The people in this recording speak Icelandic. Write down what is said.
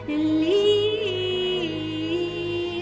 í